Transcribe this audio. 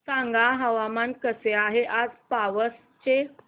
सांगा हवामान कसे आहे आज पावस चे